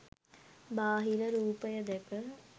බාහිර රූපය දැක